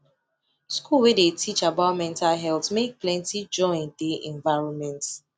school wey dey teach about mental health make plenty join dey environment